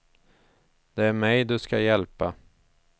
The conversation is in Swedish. Det är mig du ska hjälpa.